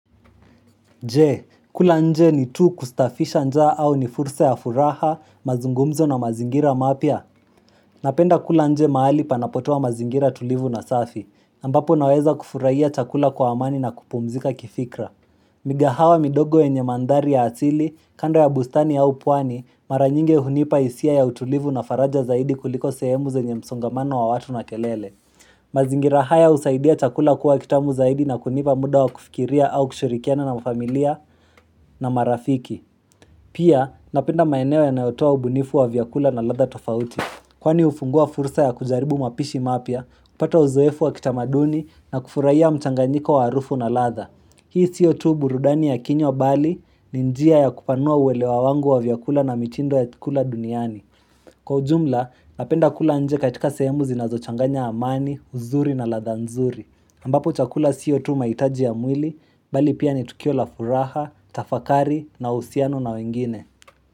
Je, kula nje ni tu kustafisha nja au ni fursa ya furaha, mazungumzo na mazingira mapia? Napenda kula nje mahali panapoto wa mazingira tulivu na safi, ambapo naweza kufurahia chakula kwa amani na kupumzika kifikra. Migahawa midogo enye mandari ya atili, kando ya bustani au puani, maranyinge hunipa isia ya utulivu na faraja zaidi kuliko sehemu ze nye msongamano wa watu na kelele. Mazingirahaya husaidia chakula kuwa kitamu zaidi na kunipa muda wa kufikiria au kushurikiana na familia na marafiki Pia napenda maeneo ya nayotua ubunifu wa vyakula na latha tofauti Kwani ufungua fursa ya kujaribu mapishi mapia, kupata uzoefu wa kitamaduni na kufurahiya mchanganyiko wa harufu na latha Hii siyo tu burudani ya kinywa bali ni njia ya kupanua uwelewa wangu wa vyakula na mitindo ya kula duniani Kwa ujumla, napenda kula nje katika sehemuzina zochanganya amani, uzuri na ladha nzuri. Ambapo chakula siyo tu maitaji ya mwili, bali pia ni tukiola furaha, tafakari na usiano na wengine.